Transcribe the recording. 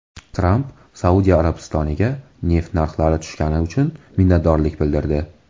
Tramp Saudiya Arabistoniga neft narxlari tushgani uchun minnatdorlik bildirdi.